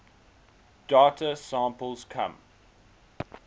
data samples come